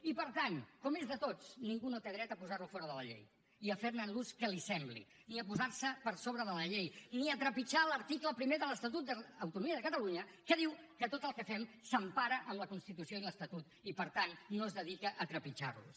i per tant com és de tots ningú no té dret a posar lo fora de la llei i a fer ne l’ús que li sembli ni a posar se per sobre de la llei ni a trepitjar l’article primer de l’estatut d’autonomia de catalunya que diu que tot el que fem s’empara en la constitució i l’estatut i per tant no es dedica a trepitjar los